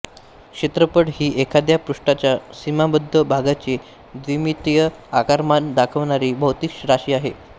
क्षेत्रफळ ही एखाद्या पृष्ठाच्या सीमाबद्ध भागाचे द्विमितीय आकारमान दाखवणारी भौतिक राशी आहे